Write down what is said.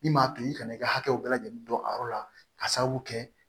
Min m'a to i kana i ka hakɛw bɛɛ lajɛlen don a yɔrɔ la ka sababu kɛ